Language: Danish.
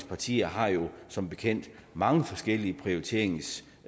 partier har jo som bekendt mange forskellige prioriteringsønsker